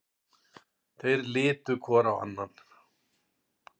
Þeir litu hvor á annan.